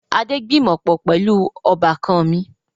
Adé gbìmọ̀pọ̀ pẹlu ọbákan mi